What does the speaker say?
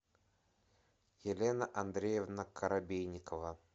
елена андреевна коробейникова